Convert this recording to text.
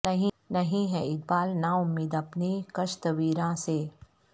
نہیں ہے اقبال نا امید اپنی کشت ویراں سے